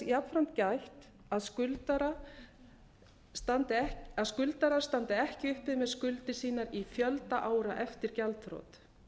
jafnframt gætt að skuldarar standi ekki uppi með skuldir sínar í fjölda ára eftir gjaldþrot